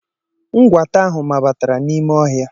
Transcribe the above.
Nkwata ahụ mabatara n'ime ohia.